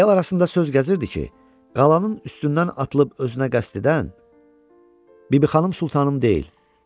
El arasında söz gəzirdi ki, qalanın üstündən atılıb özünə qəsd edən Bibixanım Sultanım deyil.